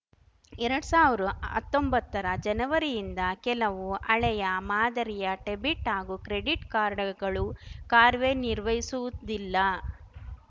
ಎರಡ್ ಸಾವಿರ್ ಹತ್ತೊಂಬತ್ತರ ಜನವರಿಯಿಂದ ಕೆಲವು ಹಳೆಯ ಮಾದರಿಯ ಡೆಬಿಟ್‌ ಹಾಗೂ ಕ್ರೆಡಿಟ್‌ ಕಾರ್ಡ್‌ಗಳು ಕಾರ್ವೆನಿರ್ವಹಿಸುವುದಿಲ್ಲ